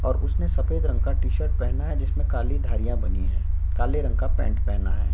और उसने सफ़ेद रंग का टी शर्ट पहना है जिसमे काली धारियां बनी है काले रंग का पेंट पहना है।